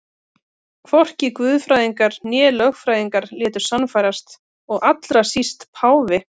Hvorki guðfræðingar né lögfræðingar létu sannfærast og allra síst páfi.